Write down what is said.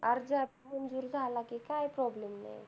अर्ज अं आपला मंजूर झाला कि काही problem नाही येत.